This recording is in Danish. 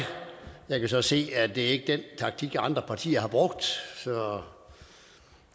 jeg kan så se at det ikke er den taktik andre partier har brugt så